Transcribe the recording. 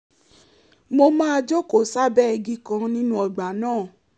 mo máa jókòó sábẹ́ igi kan nínú ọgbà náà